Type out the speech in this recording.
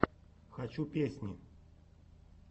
хочу песни